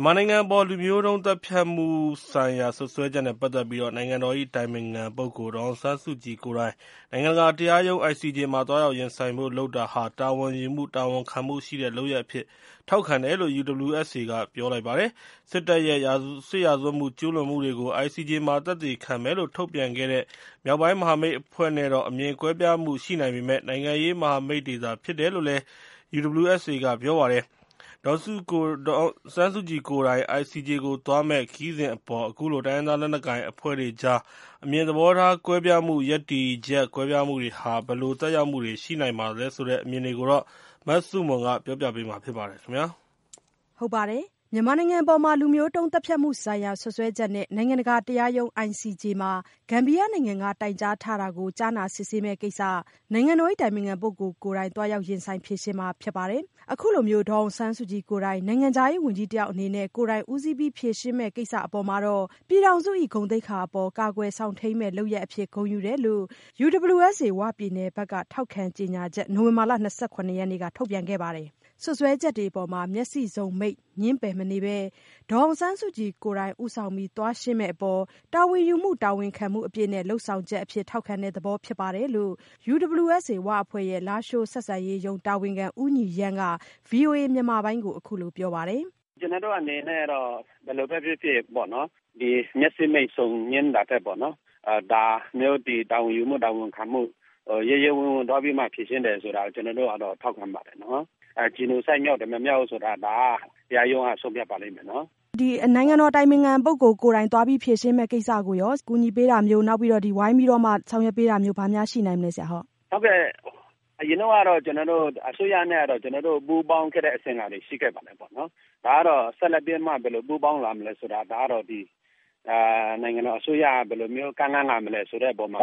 န်မာနိုင်ငံအပေါ် လူမျိုးတုံးသတ်ဖြတ်မှုဆိုင်ရာ စွပ်စွဲချက်အပေါ် နိုင်ငံတော်၏ အတိုင်ပင်ခံပုဂ္ဂိုလ် ဒေါ်အောင်ဆန်းစုကြည်ကိုယ်တိုင် နိုင်ငံတကာတရားရုံး မှာ သွားရောက်ရင်ဆိုင်ဖို့ လုပ်တာဟာ တာဝန်ယူမှု တာဝန်ခံမှုရှိတဲ့ လုပ်ရပ်အဖြစ် ထောက်ခံတယ်လို့ UWSA က ပြောဆိုလိုက်ပါတယ်။ စစ်တပ်ရဲ့ စစ်ရာဇဝတ်မှု ကျူးလွန်မှုတွေကို ICJ မှာ သက်သေခံမယ်လို့ ထုတ်ပြန်ခဲ့တဲ့ မြောက်ပိုင်းမဟာမိတ်အဖွဲ့နဲ့တော့ အမြင်ကွဲပြားမှု ရှိနိုင်ပေမယ့် နိုင်ငံရေးမဟာမိတ်တွေသာ ဖြစ်တယ်လို့လည်း UWSA က ပြောပါတယ်။ ဒေါ်အောင်ဆန်းစုကြည်ကိုယ်တိုင် ICJ ကိုသွားမယ့် ခရီးစဉ်အပေါ် အခုလို တိုင်းရင်းသား လက်နက်ကိုင်အဖွဲ့တွေကြား အမြင်သဘောထား ကွဲပြားမှု ရပ်တည်ချက် ကွာခြားမှုတွေဟာ ဘယ်လိုသက်ရောက်မှုတွေ ရှိနိုင်ပါသလဲဆိုတဲ့ အမြင်တွေကို မဆုမွန်က မေးမြန်းတင်ပြထားပါတယ်။ မြန်မာနိုင်ငံအပေါ် လူမျိုးတုံးသတ်ဖြတ်မှုဆိုင်ရာ စွပ်စွဲချက်နဲ့ နိုင်ငံတကာတရားရုံး ICJ မှာ ဂမ်ဘီယာနိုင်ငံက တိုင်ကြားထားတာကို ကြားနာစစ်ဆေးမယ့်ကိစ္စ နိုင်ငံတော်၏ အတိုင်ပင်ခံပုဂ္ဂိုလ်ကိုယ်တိုင် သွားရောက်ရင်ဆိုင်ဖြေရှင်းမှာ ဖြစ်ပါတယ်။ အခုလို ဒေါ်အောင်ဆန်းစုကြည်ကိုယ်တိုင် နိုင်ငံခြားရေးဝန်ကြီးတယောက် အနေနဲ့ ကိုယ်တိုင်ဦးစီးပြီး ဖြေရှင်းမယ့်ကိစ္စအပေါ် ပြည်ထောင်စု၏ ဂုဏ်သိက္ခာအပေါ် ကာကွယ်စောင့်ထိန်းမည့် လုပ်ရပ်အဖြစ် ဂုဏ်ယူတယ်လို့ UWSA ဝပြည်နယ်ဘက်က ထောက်ခံကြေညာချက် နိုဝင်ဘာလ ၂၇ ရက်နေ့က ထုတ်ပြန်ခဲ့ပါတယ်။ စွပ်စွဲချက်တွေအပေါ် မျက်စိစုံမှိတ် ငြင်းပယ်မနေဘဲ ဒေါ်အောင်ဆန်းစုကြည်ကိုယ်တိုင် ဦးဆောင်ပြီး သွားရှင်းမယ့်အပေါ် တာဝန်ယူမှု တာဝန်ခံမှုအပြည့်နဲ့ လုပ်ဆောင်ချက်အဖြစ် ထောက်ခံတဲ့သဘော ဖြစ်ပါတယ်လို့ UWSA ဝအဖွဲ့ရဲ့ လားရှိုးဆက်ဆံရေးရုံး တာဝန်ခံ ဦးညီရန်းက ဗွီအိုအေမြန်မာပိုင်းကို အခုလိုပြောပါတယ်။ ကျနော်တို့အနေနဲ့ ဘယ်လိုပဲဖြစ်ဖြစ် မျက်စိမှိတ်ငြင်းတာထက် ဒါမျိုး တာဝန်ယူမှု၊ တာဝန်ခံမှု ရဲရဲဝံ့ဝံ့ သွားပြီးမှ ဖြေရှင်းတယ်ဆိုတာတော့ ထောက်ခံပါတယ်။ Genocide မြောက်တယ်၊ မမြောက်ဘူးဆိုတာ ဒါက တရားရုံးက ဆုံးဖြတ်ပါလိမ့်မယ်။ နိုင်ငံတော်အတိုင်ပင်ခံပုဂ္ဂိုလ် ကိုယ်တိုင် သွားပြီး ဖြေရှင်းမယ့်ကိစ္စကိုရော ကူညီပေးတာမျိုး၊ ဝိုင်းပြီးတော့ ဆောင်ရွက်ပေးတာမျိုး ဘာများရှိနိုင်မလဲ။ အရင်တုန်းကတော့ ကျနော်တို့ အစိုးရနဲ့ ပူးပေါင်းခဲ့တဲ့ အစဉ်အလာတွေ ရှိခဲ့ပါတယ်။ ဆက်လက်ပြီးတော့ ဘယ်လိုပူးပေါင်းမလဲဆိုတာ ဒါကတော့ နိုင်ငံတော်အစိုးရက ဘယ်လိုမျိုး ကမ်းလှမ်းလာမလဲ ဆိုတဲ့အပေါ်မှာ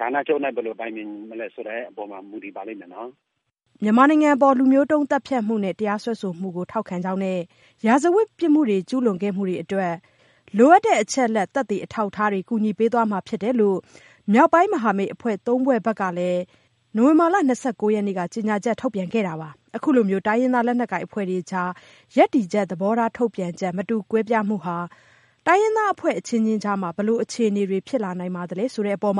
ဌာနချုပ်နဲ့ ဘယ်လိုတိုင်ပင်မလဲ ဆိုတဲ့အပေါ်မှာ မူတည်ပါလိမ့်မယ်။ ICJ နိုင်ငံတကာ တရားရုံးမှာ မြန်မာနိုင်ငံအပေါ် လူမျိုးတုံးသတ်ဖြတ်မှုနဲ့ တရားစွဲဆိုမှုကို ထောက်ခံကြောင်းနဲ့ စစ်ရာဇဝတ်မှု ကျူးလွန်ခဲ့မှုတွေအတွက် လိုအပ်တဲ့ အချက်အလက် သက်သေအထောက်အထားတွေ ကူညီပေးသွားမှာ ဖြစ်တယ်လို့ မြောက်ပိုင်းမဟာမိတ်အဖွဲ့ဝင် ၃ ဖွဲ့ကလည်း နိုဝင်ဘာလ ၂၉ ရက်က ကြေညာချက် ထုတ်ထားတာပါ။ အခုလို တိုင်းရင်းသား လက်နက်ကိုင်အဖွဲ့တွေကြား ရပ်တည်ချက် သဘောထား ထုတ်ပြန်ချက် မတူကွဲပြားမှုဟာ အဖွဲ့အချင်းချင်းကြား ဘယ်လိုအခြေအနေတွေ ဖြစ်လာနိုင်သလဲ ဆိုတဲ့အပေါ်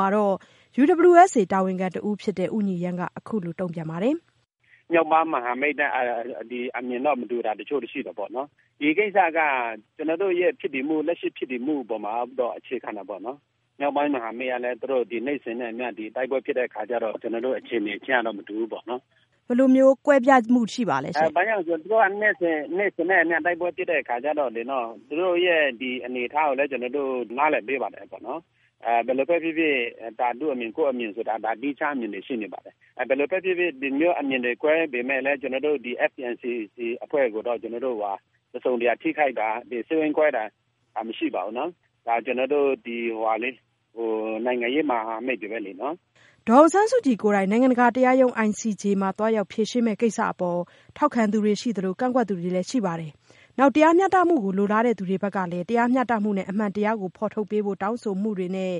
UWSA တာဝန်ခံတဦးဖြစ်တဲ့ ဦးညီရန်းက အခုလိုပြောပါတယ်။ မြောက်ပိုင်း မဟာမိတ်တပ်နဲ့ အမြင်မတူတာတချို့တော့ ရှိတယ်။ ဒီကိစ္စက ကျနော်တို့ရဲ့ လက်ရှိဖြစ်တည်မှုအပေါ်မှာ သွားပြီးတော့ အခြေခံတာပေါ့။ မြောက်ပိုင်းမဟာမိတ်ကလည်း သူတို့ နေ့စဉ်နဲ့အမျှ တိုက်ပွဲဖြစ်တဲ့အခါကျတော့ ကျနော်တို့ အခြေအနေချင်းကတော့ မတူဘူးပေါ့။ ဘယ်လိုမျိုး ကွဲပြားမှုရှိပါသလဲရှင့်။ သူတို့က နေ့စဉ်နဲ့အမျှ တိုက်ပွဲဖြစ်တဲ့အခါကျတော့ သူတို့ရဲ့ အနေအထားကိုလည်း ကျနော်တို့ နားလည်ပေးပါတယ်။ ဘယ်လိုပဲဖြစ်ဖြစ် သူ့အမြင် ကိုယ့်အမြင်ဆိုတာ သီးခြားအမြင်တွေ ရှိနေပါတယ်။ ဒီလိုမျိုး အမြင်တွေ ကွဲပေမယ့်လည်း ဒီ FPNCC အဖွဲ့ကိုတော့ ကျနော်တို့က တစုံတရာ ထိခိုက်တာ စိတ်ဝမ်းကွဲတာ မရှိပါဘူး။ ကျနော်တို့ နိုင်ငံရေးမဟာမိတ်တွေပဲလေ။ ဒေါ်အောင်ဆန်းစုကြည်ကိုယ်တိုင် နိုင်ငံတကာတရားရုံး ICJ ကို သွားရောက်ဖြေရှင်းမယ့် ကိစ္စအပေါ် ထောက်ခံသူတွေရှိသလို ကန့်ကွက်သူတွေလည်း ရှိပါတယ်။ နောက် တရားမျှတမှုကို လိုလားသူတွေဘက်ကလည်း တရားမျှတမှုနဲ့ အမှန်တရားကို ဖော်ထုတ်ပေးဖို့ တောင်းဆိုမှုတွေနဲ့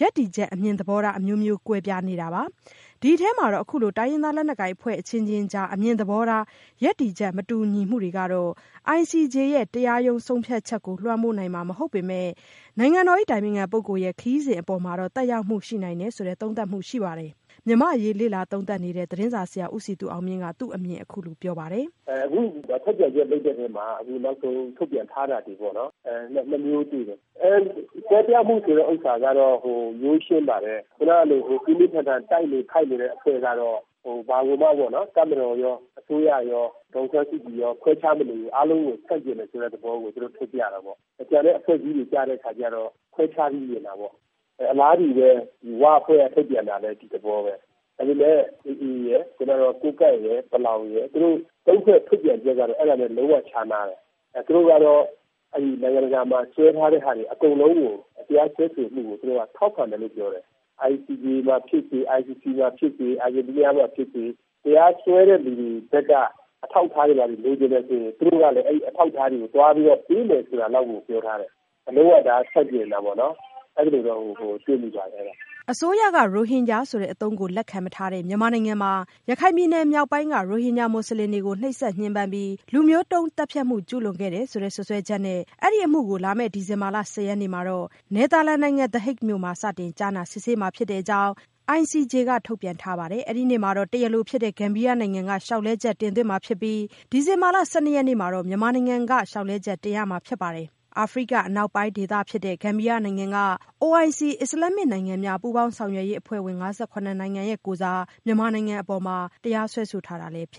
ရပ်တည်ချက် အမြင်သဘောထား အမျိုးမျိုး ကွဲပြားနေတာပါ။ ဒီအထဲမှာတော့ အခုလို တိုင်းရင်းသားလက်နက်ကိုင်အဖွဲ့ အချင်းချင်းကြား အမြင်သဘောထား ရပ်တည်ချက် မတူညီမှုတွေကတော့ ICJ ရဲ့ တရားရုံး ဆုံးဖြတ်ချက်ကို လွှမ်းမိုးနိုင်မှာ မဟုတ်ပေမယ့်လို့ နိုင်ငံတော်အတိုင်ပင်ခံရဲ့ ခရီးစဉ်အပေါ်မှာတော့ သက်ရောက်မှု ရှိနိုင်တယ်ဆိုတဲ့ သုံးသပ်မှုရှိပါတယ်။ မြန်မာ့အရေး လေ့လာသုံးသပ်နေတဲ့ သတင်းစာဆရာ ဦးစည်သူအောင်မြင့်က သူ့အမြင်ကို အခုလိုပြောပါတယ်။ အခုထုတ်ပြန်ချက် လုပ်တဲ့အပေါ်မှာ နောက်ဆုံးထုတ်ပြန်ထားတာတွေ နှစ်မျိုးတွေ့တယ်။ ကွဲပြားမှုဆိုတဲ့ဟာကတော့ ရိုးရှင်းပါတယ်။ ခုနလို ပြင်းပြင်းထန်ထန် တိုက်နေခိုက်နေတဲ့ အဖွဲ့ကတော့ တပ်မတော်ရော အစိုးရရော ဒေါ်အောင်ဆန်းစုကြည်ရော ခွဲခြားမနေဘူး။ အားလုံးကို ဆန့်ကျင်တယ်ဆိုတဲ့သဘော ထုတ်ပြတာပေါ့။ ကျန်တဲ့ အဖွဲ့အစည်းတွေကတော့ ခွဲခြားပြီးမြင်တာပေါ့။ အလားတူပဲ ဝအဖွဲ့က ထုတ်ပြန်တာလည်း ဒီသဘောပဲ။ အခုလည်း AA ရယ်၊ ကိုးကန့်ရယ်၊ ပလောင်ရယ် သူတို့သုံးဖွဲ့ ထုတ်ပြန်ချက်ကတော့ လုံးဝခြားနားတယ်။ သူတို့ကတော့ နိုင်ငံတကာမှာ စွဲထားတဲ့ဟာတွေ အကုန်လုံးကို တရားစွဲဆိုမှုကို ထောက်ခံတယ်လို့ ပြောတယ်။ ICJ မှာဖြစ်စေ၊ ICC မှာဖြစ်စေ၊ အာဂျင်တီးနားမှာဖြစ်စေ တရားစွဲတဲ့လူတွေဘက်က အထောက်အထားတွေ ဘာတွေ လိုချင်တယ်ဆိုရင် သူတို့ကလည်း အဲဒီအထောက်အထားတွေ သွားပြီးပေးမယ် ဆိုတာလောက်ကို ပြောထားတယ်။ ဒါ လုံးဝ ဆန့်ကျင်တာပေါ့၊ အဲလိုတော့ တွေ့မိတယ်။ အစိုးရက ရိုဟင်ဂျာဆိုတဲ့ အသုံးကို လက်ခံမထားတဲ့ မြန်မာနိုင်ငံမှာ ရခိုင်ပြည်နယ်မြောက်ပိုင်းက ရိုဟင်ဂျာ မွတ်စလင်တွေကို နှိပ်စက်ညှဉ်းပန်းပြီး လူမျိုးတုံးသတ်ဖြတ်မှု ကျူးလွန်ခဲ့တယ်ဆိုတဲ့ စွပ်စွဲချက်နဲ့ အဲဒီအမှုကို လာမယ့် ဒီဇင်ဘာ ၁၀ ရက်နေ့မှာ နယ်သာလန်နိုင်ငံ The Hague မြို့မှာ စတင်ကြားနာစစ်ဆေးမှာ ဖြစ်တဲ့အကြောင်း ICJ က ထုတ်ပြန်ထားပါတယ်။ အဲဒီနေ့မှာ တရားလိုဖြစ်တဲ့ ဂမ်ဘီယာနိုင်ငံက လျှောက်လဲချက် တင်သွင်းမှာဖြစ်ပြီး ဒီဇင်ဘာ ၁၁ ရက်နေ့မှာ မြန်မာနိုင်ငံက ICJ မှာ လျှောက်လဲချက် တင်ရမှာဖြစ်ပါတယ်။ အာဖရိက အနောက်ပိုင်းဒေသမှာရှိတဲ့ ဂမ်ဘီယာနိုင်ငံက OIC အစ္စလာမ္မစ်နိုင်ငံများ ပူးပေါင်းဆောင်ရွက်ရေးအဖွဲ့ဝင် ၅၇ နိုင်ငံကိုယ်စား မြန်မာနိုင်ငံအပေါ် တရားစွဲဆိုထားတာ ဖြစ်